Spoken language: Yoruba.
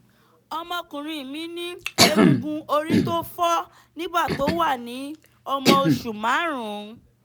ọmọkùnrin mi ní egungun orí tó fọ́ nígbà tó wà ní ọmọ oṣù márùn-ún